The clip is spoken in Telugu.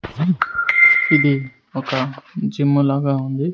ఇది ఒక జిమ్ లాగా ఉంది.